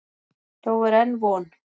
Þó er enn von.